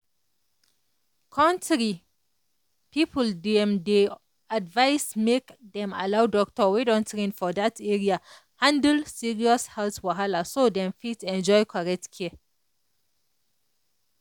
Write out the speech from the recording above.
country people dem dey advise make dem allow doctor wey don train for that area handle serious health wahala so dem fit enjoy correct care.